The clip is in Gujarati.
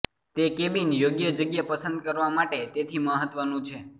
તે કેબિન યોગ્ય જગ્યા પસંદ કરવા માટે તેથી મહત્વનું છે